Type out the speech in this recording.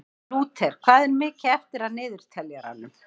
Lúter, hvað er mikið eftir af niðurteljaranum?